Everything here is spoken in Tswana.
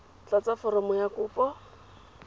tlatsa foromo ya kopo mo